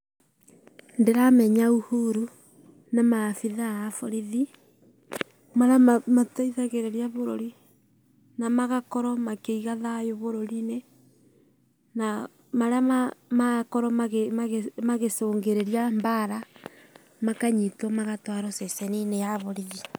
Ndĩramenya Uhuru na maabitha a borithi, arĩa matithagĩrĩria bũrũri na magakorwo makĩiga thayũ bũrũri-inĩ na arĩa marakorwo magĩcũngĩrĩra mbaara, makanyitwo magatwarwo ceceni-inĩ ya borithi.